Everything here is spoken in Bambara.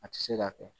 A tɛ se ka kɛ